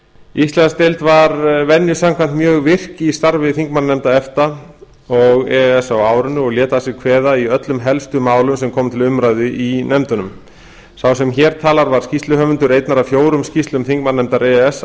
íslandsdeild var venju samkvæmt mjög virk í starfi þingmannanefnda efta og e e s á árinu og lét að sér kveða í öllum helstu málum sem komu til umræðu í nefndunum sá sem hér talar var skýrsluhöfundur einnar af fjórum skýrslum þingmannanefndar e e s